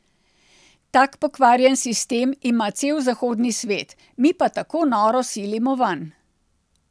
Tak pokvarjen sistem ima cel zahodni svet, mi pa tako noro silimo vanj.